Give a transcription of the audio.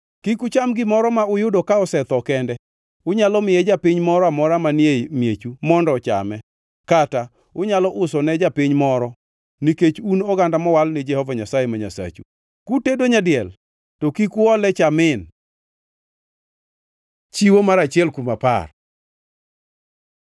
Kik ucham gimoro ma uyudo ka osetho kende. Unyalo miye japiny moro amora manie miechu mondo ochame kata unyalo uso ne japiny moro, nikech un oganda mowal ni Jehova Nyasaye ma Nyasachu. Kutedo nyadiel to kik uole cha min. Chiwo mar achiel kuom apar